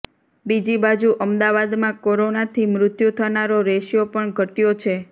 બીજી બાજુ અમદાવાદમાં કોરોનાથી મૃત્યું થનારો રેસિયો પણ ઘટ્યો છે